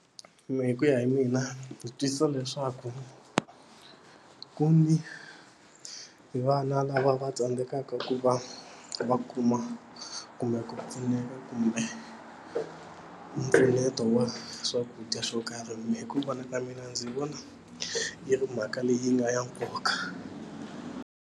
Mina hi ku ya hi mina ndzi twisisa leswaku ku ni hi vana lava va tsandzekaka ku va va kuma kumbe ku pfuneka kumbe mpfuneto wa swakudya swo karhi mina hi ku vona ka mina ndzi vona yi ri mhaka leyi nga ya nkoka.